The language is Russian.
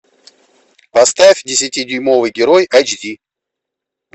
поставь десятидюймовый герой эйч ди